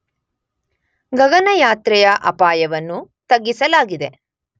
ಗಗನಯಾತ್ರೆಯ ಅಪಾಯವನ್ನು ತಗ್ಗಿಸಲಾಗಿದೆ.